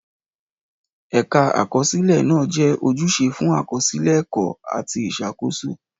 Ẹ̀ka Àkọsílẹ̀ náà jẹ́ ojúṣe fún àkọsílẹ̀ ẹ̀kọ́ àti ìṣàkóso.